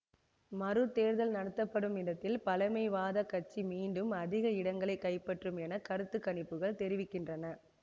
மறு தேர்தல் நடத்தப்படும் இடத்தில் பழமைவாத கட்சி மீண்டும் அதிக இடங்களை கைப்பற்றும் என கருத்து கணிப்புகள் தெரிவிக்கின்றன